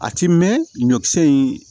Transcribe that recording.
A ti mɛn ɲɔkisɛ in